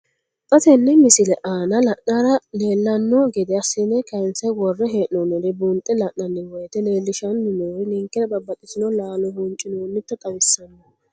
Xa tenne missile aana la'nara leellanno gede assine kayiinse worre hee'noonniri buunxe la'nanni woyiite leellishshanni noori ninkera babbaxxitino laalo huuncinoonnita xawissanno.